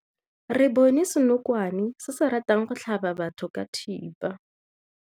Re bone senokwane se se ratang go tlhaba batho ka thipa.